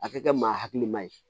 A ka kɛ maa hakilima ye